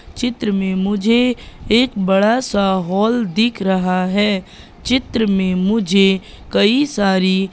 चित्र में मुझे एक बड़ा सा हॉल दिख रहा है चित्र में मुझे कई सारी--